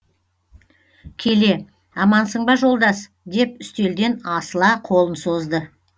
келе амансың ба жолдас деп үстелден асыла қолын созды